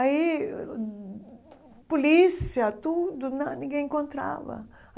Aí, polícia, tudo, na ninguém encontrava.